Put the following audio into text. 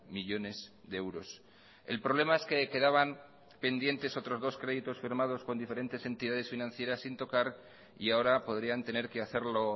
millónes de euros el problema es que quedaban pendientes otros dos créditos firmados con diferentes entidades financieras sin tocar y ahora podrían tener que hacerlo